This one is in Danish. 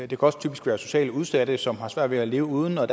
kan også typisk være socialt udsatte som har svært ved at leve uden og